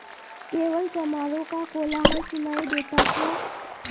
केवल चमारों का कोलाहल सुनायी देता था